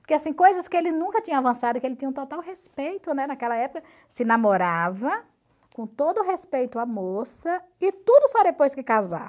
Porque assim, coisas que ele nunca tinha avançado, que ele tinha um total respeito, né, naquela época, se namorava com todo respeito à moça e tudo só depois que casar.